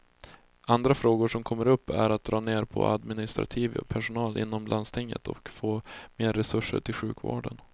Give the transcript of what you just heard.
Andra frågor som kommer upp är att dra ner på administrativ personal inom landstinget och få mer resurser till sjukvården.